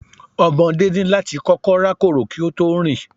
Ọmọdé ní láti kọ́kọ́ rákòrò kí ó tó rìn